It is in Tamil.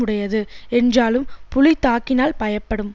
உடையது என்றாலும் புலி தாக்கினால் பயப்படும்